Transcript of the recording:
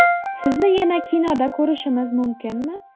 Sizni yana kinoda ko‘rishimiz mumkinmi?